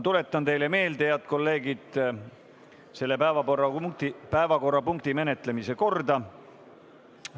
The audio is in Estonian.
Tuletan meelde, head kolleegid, selle päevakorrapunkti menetlemise korda.